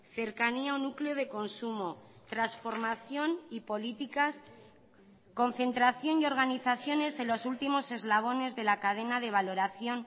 cercanía o núcleo de consumo transformación y políticas concentración y organizaciones en los últimos eslabones de la cadena de valoración